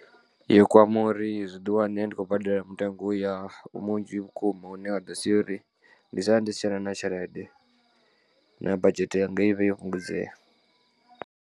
Yo kwama uri zwiḓi wane ndi khou badela mutengo uya munzhi vhukuma hune wa ḓo sia uri ndi sale ndi si tshena na tshelede na badzhete yanga ivhe yo fhungudzea.